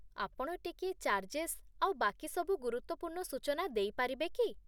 ଆପଣ ଟିକିଏ ଚାର୍ଜେସ୍ ଆଉ ବାକିସବୁ ଗୁରୁତ୍ଵପୂର୍ଣ୍ଣ ସୂଚନା ଦେଇପାରିବେ କି?